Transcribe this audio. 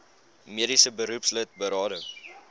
mediese beroepslid berading